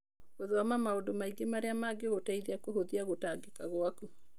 Gũthoma maũndũ maingĩ marĩa mangĩgũteithia kũhũthia gũtangĩka gwaku.